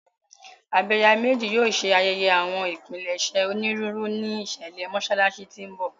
Abẹ̀yàmejì yóò ṣe ayẹyẹ àwọn ìpilẹ̀ṣẹ̀ onírúurú ní ìṣẹ̀lẹ̀ Mọ́ṣáláṣí tí ń bọ̀.